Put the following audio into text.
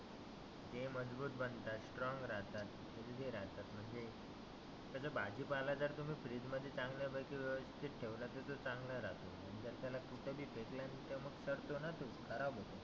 ते मजबुत बनतात स्ट्रॉंग राहतात, हेल्थी राहतात. म्हणजे. तसं भाजी पाला जर फ्रिज मध्ये चांगल्या पैकी व्यवस्थीत ठेवला तर तो चांगला राहतो. जर त्याला कुठेही फेकला मग तो सडतोना तो खराब